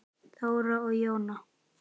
Þóra og Jóna.